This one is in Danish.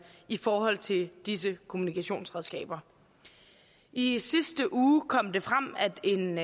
i forhold til disse kommunikationsredskaber i sidste uge kom det frem at en